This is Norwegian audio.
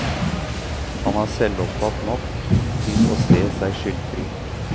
Han er selvopptatt nok til å se seg skyldfri.